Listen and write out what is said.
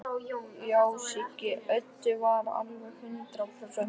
Já, Siggi Öddu var alveg hundrað prósent viss.